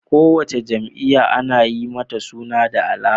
Kowace jam'iya Ana Yi mata suna da alama